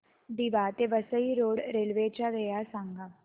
दिवा ते Vasai road railway च्या वेळा सांगा